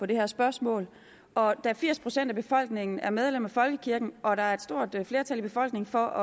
det her spørgsmål og da firs procent af befolkningen er medlem af folkekirken og der er et stort flertal i befolkningen for at